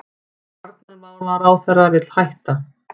Varnarmálaráðherra vill hætta